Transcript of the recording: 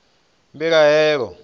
mbilahelo